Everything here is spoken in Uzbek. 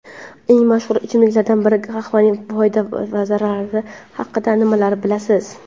Eng mashhur ichimliklardan biri — qahvaning foyda va zararlari haqida nimalarni bilasiz?.